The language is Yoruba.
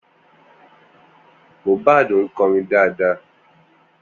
Mohbad ń kọrin dáadáa